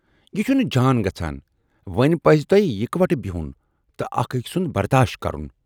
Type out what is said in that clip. یہِ چھُنہٕ جان گژھان، وۅنۍ پزِ تۅہہِ یِکوٹہٕ بِہُن تہٕ اکھ ٲکۍ سُند برداش کرُن۔